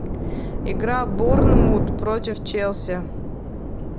игра борнмут против челси